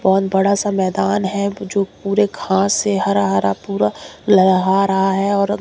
बहोत बड़ा सा मैदान है जो पूरे घास से हरा हरा पूरा लेहारा रहा है और--